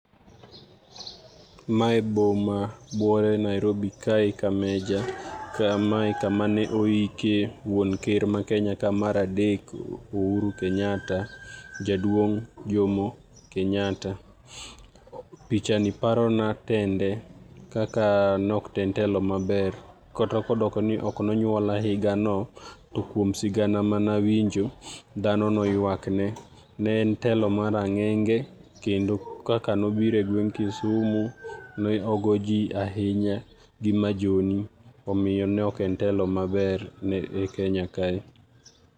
Mae boma buore Nairobi kae ka major kamae kama ne oike wuon ker mar Kenya ka mar adek Uhuru Kenyatta, jaduong Jomo Kenyatta. Picha ni paro na tende kaka nok en telo maber, kata kodoko ni ok nonyuola higa no, to kuom sigana manawinjo, dhano noywak ne. Ne en telo marang'enge kendo kaka nobiro e gweng Kisumu, ne ogo ji ahinya gi majohni, omiyo nok en telo maber ne e Kenya kae.